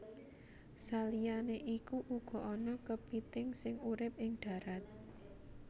Saliyané iku uga ana kepithing sing urip ing dharat